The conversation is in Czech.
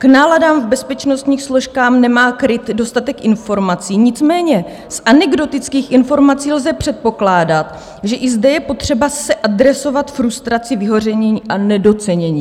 K náladám v bezpečnostních složkách nemá KRIT dostatek informací, nicméně z anekdotických informací lze předpokládat, že i zde je potřeba se adresovat frustraci vyhoření a nedocenění."